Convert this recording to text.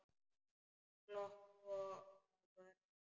Glott á vörum hennar.